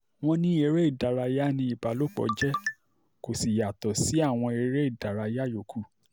wọ́n ní eré ìdárayá ni ìbálòpọ̀ jẹ́ kó sì yàtọ̀ sí àwọn eré ìdárayá yòókù